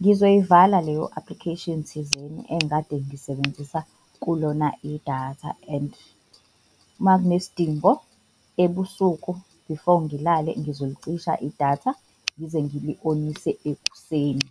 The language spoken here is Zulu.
ngizoyivala leyo application thizeni engikade ngisebenzisa kulona idatha. And uma kunesidingo ebusuku, before ngilale, ngizolicisha idatha ngize ngili-onise ekuseni.